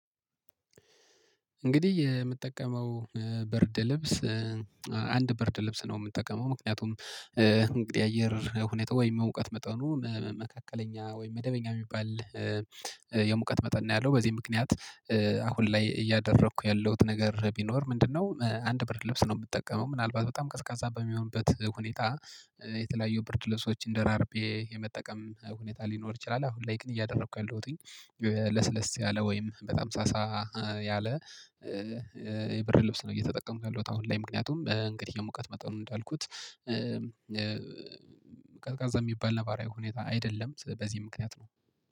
እንግዲህ የምጠቀመው በርደ ልብስ አንድ በርደ ልብስ ነው። የምጠቀመው ምክንያቱም እንግዲህ አየር ሁኔታ ወይም የሙቀት መጠኑ መካከለኛ ወይም መደበኛ የሚባል የሙቀት መጠን ነው። ያለው በዚህ ምክንያት አሁን ላይ እያደረኩ ያለሁት ነገር ቢኖር ምንድነው አንድ ብር ልብስ ነው የምጠቀመው ምናልባት በጣም ቀዝቃዛ በሚሆንበት ሁኔታ የተለያየ ብር ልብሶችን ደራርቤ የመጠቀም ሁኔታ ሊኖር ይችላል። አሁን ላይክን እያደረኩ ያልውኝ ለስለስ ያለ ወይም በጣም ሳሳ ያለ የብርድብስ ነው እየተጠቀምኩ ያለውት። አሁን ላይ ምክንያቱም እንግዲህ የሙቀት መጠኑን እንዳልኩት ቀዝቃዛ የሚባል ነባራዊ ሁኔታ አይደለም በዚህ ምክንያት ነው።